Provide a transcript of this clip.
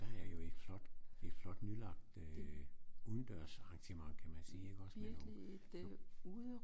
Der er jo et flot et flot nylagt øh udendørsarrangement kan man sige ikke også med nogle